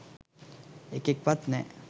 එකෙක්වත් නෑ